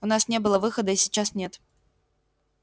у нас не было выхода и сейчас нет